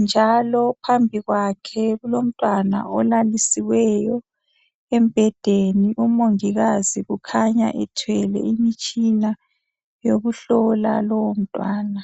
njalo phambi kwakhe kulomntwana olalisiweyo embhedeni umongikazi kukhanya ethwele imitshina yokuhlola lowo mntwana